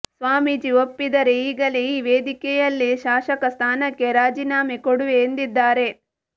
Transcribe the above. ಸ್ವಾಮೀಜಿ ಒಪ್ಪಿದರೆ ಈಗಲೇ ಈ ವೇದಿಕೆಯಲ್ಲೇ ಶಾಸಕ ಸ್ಥಾನಕ್ಕೆ ರಾಜೀನಾಮೆ ಕೊಡುವೆ ಎಂದಿದ್ದಾರೆ